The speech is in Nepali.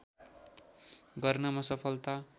गर्नमा सफलता